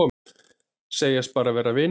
Segjast bara vera vinir